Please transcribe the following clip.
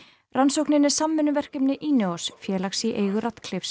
rannsóknin er samvinnuverkefni félags í eigu